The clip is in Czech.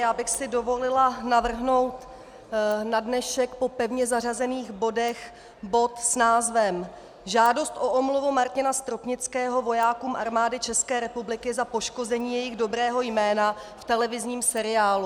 Já bych si dovolila navrhnout na dnešek po pevně zařazených bodech bod s názvem Žádost o omluvu Martina Stropnického vojákům Armády České republiky za poškození jejich dobrého jména v televizním seriálu.